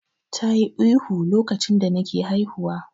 Tayi ihu lokacin da take haihuwa.